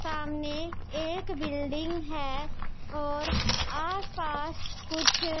सामने एक बिल्डिंग है और आसपास कुछ--